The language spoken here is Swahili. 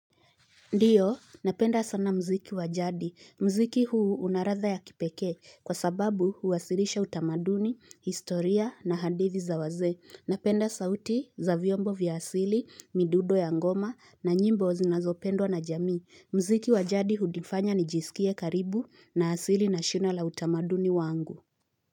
Ndio, napenda sana muziki wajadi. Muziki huu unaladha ya kipekee kwa sababu huwasilisha utamaduni, historia na hadithi za wazee. Napenda sauti za vyombo vya asili, midundo ya ngoma na nyimbo zinazo pendwa na jamii. Mziki wa jadi hunifanya nijisikie karibu na asili na shina la utamaduni wangu.